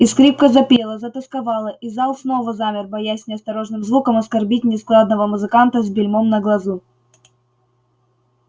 и скрипка запела затосковала и зал снова замер боясь неосторожным звуком оскорбить нескладного музыканта с бельмом на глазу